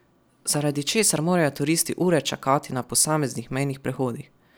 Zaradi česar morajo turisti ure čakati na posameznih mejnih prehodih.